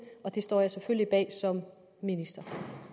og det står jeg selvfølgelig bag som minister